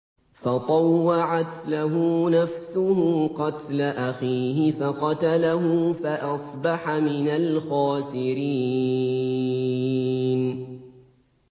فَطَوَّعَتْ لَهُ نَفْسُهُ قَتْلَ أَخِيهِ فَقَتَلَهُ فَأَصْبَحَ مِنَ الْخَاسِرِينَ